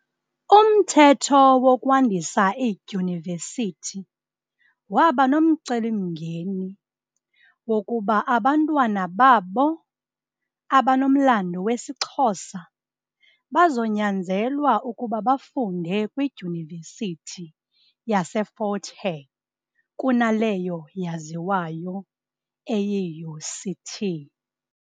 Umthetho wokwandisa iidyunivesithi waba nomcelimngeni wokuba abantwana babo, abanomlandu wesiXhosa, bazonyanzelwa ukuba bafunde kwidyunivesithi yase Fort Hare kunaleyo yaziwayo eyi UCT.